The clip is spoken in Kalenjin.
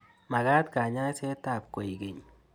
Mag'at kanyaiset ab koikeny